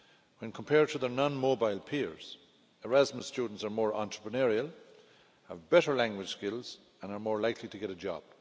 When compared to their non mobile peers, Erasmus students are more entrepreneurial, have better language skills and are more likely to get a job.